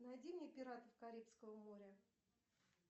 найди мне пиратов карибского моря